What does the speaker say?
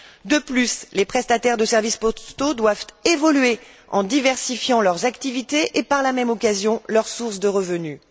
De plus, les prestataires de services postaux doivent évoluer en diversifiant leurs activités et, par la même occasion, leurs sources de revenus.